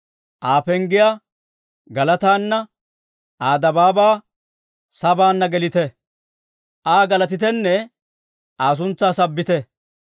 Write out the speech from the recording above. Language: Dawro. Aa penggiyaa galataana, Aa dabaabaa sabaanna gelite; Aa galatitenne Aa suntsaa sabbite.